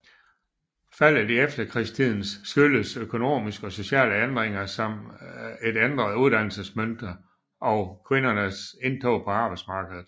Faldet i efterkrigstiden skyldes økonomiske og sociale ændringer som et ændret uddannelsesmønster og kvindernes indtog på arbejdsmarkedet